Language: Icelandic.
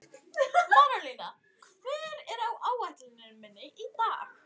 Marólína, hvað er á áætluninni minni í dag?